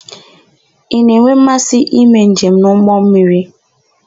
Ị na-enwe mmasị ime njem n'ụgbọmmiri?